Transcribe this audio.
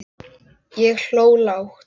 Ég hló lágt.